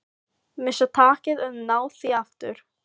Missa takið en ná því aftur.